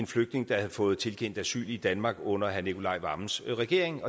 flygtning der havde fået tilkendt asyl i danmark under herre nicolai wammens regering